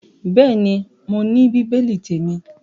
Bẹ́ẹ̀ ni, mo ní bíbélì témi.